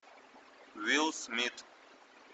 уилл смит